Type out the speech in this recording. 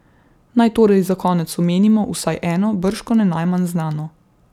Naj torej za konec omenimo vsaj eno, bržkone najmanj znano.